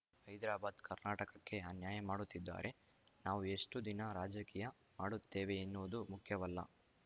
ಹೈದ್ರಾಬಾದ್‌ ಕರ್ನಾಟಕಕ್ಕೆ ಅನ್ಯಾಯ ಮಾಡುತ್ತಿದ್ದಾರೆ ನಾವು ಎಷ್ಟುದಿನ ರಾಜಕೀಯ ಮಾಡುತ್ತೇವೆ ಎನ್ನುವುದು ಮುಖ್ಯವಲ್ಲ